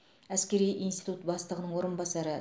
әскери институт бастығының орынбасары